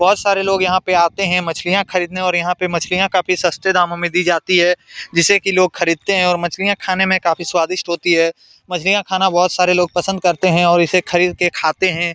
बहोत सारे लोग यहां पे आते हें मछलियां खरीदने और यहां पे मछलियां काफी सस्ते दामों में दी जाती है जिसे की लोग खरीदते हैं और मछलियां खाने में काफी स्वादिष्ठ होती है मछलियां खाना बहोत सारे लोग पसंद करते है और इसे खरीद के खाते हें।